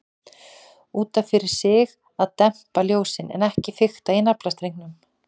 Út af fyrir sig að dempa ljósin, en ekki fikta í naflastrengnum.